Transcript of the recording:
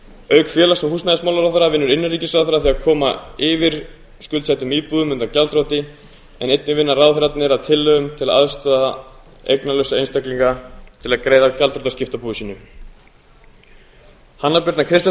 auk félags og húsnæðismálaráðherra vinnur innanríkisráðherra að því að koma yfir skuldsettum íbúðum að gjaldþroti en einnig vinna ráðherrarnir að tillögum til að aðstoða eignalausa einstaklinga til að greiða gjaldþrotaskipti af búi sínu hæstvirtur innanríkisráðherra